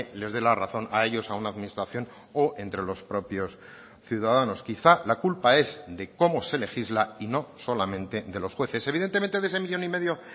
les dé la razón a ellos a una administración o entre los propios ciudadanos quizá la culpa es de cómo se legisla y no solamente de los jueces evidentemente de ese millón y medio